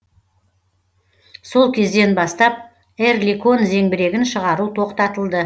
сол кезден бастап эрликон зеңбірегін шығару тоқтатылды